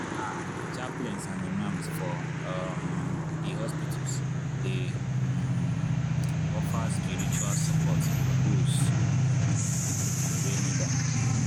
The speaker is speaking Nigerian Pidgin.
ah chaplains and imams for um di hospitals dey um offer spiritual support for doze. wey need am.